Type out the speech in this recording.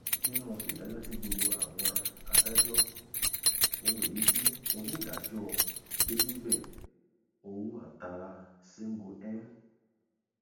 nínú ìdájọ tí gbogbo àwọn adájọ ohun èyí tí onídàájọ gbéríbẹ ouattara sengu m